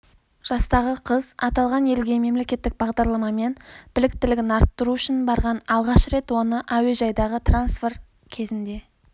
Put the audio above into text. жастағы қыз аталған елге мемлекеттік бағдарламамен біліктілігін арттыру үшін барған алғаш рет оны әуежайдағы трансфер кезінде